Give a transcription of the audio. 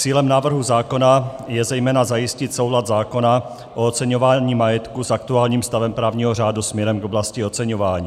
Cílem návrhu zákona je zejména zajistit soulad zákona o oceňování majetku s aktuálním stavem právního řádu směrem k oblasti oceňování.